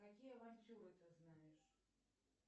какие авантюры ты знаешь